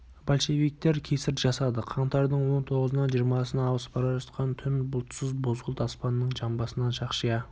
большевиктер кесір жасады қаңтардың он тоғызынан жиырмасына ауысып бара жатқан түн бұлтсыз бозғылт аспанның жамбасынан шақшия